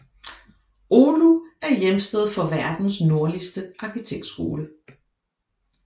Oulu er hjemsted for verdens nordligste arkitektskole